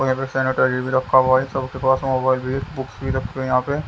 बगल में सैनिटाइजर भी रखा हुआ है सबके पास मोबाइल भी है बुक्स भी रखे हुए है यहां पे--